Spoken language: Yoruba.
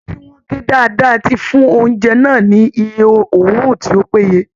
Ata tí wọ́n gé dáadáa ti fún oúnjẹ náà ni iye oru tí ó péye